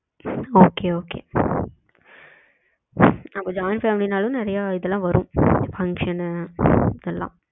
okay okay உம் அப்போ join family னாலும் நெறைய இதெல்லாம் வரும் function னு ஓ இது எல்லாம்